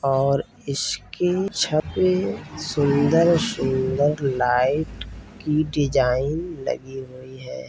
और इसकी छत पे सुंदर-सुंदर लाइट की डिजाइन लगी हुई है।